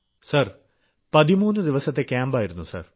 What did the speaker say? sir 13 ദിവസത്തെ ക്യാമ്പായിരുന്നു sir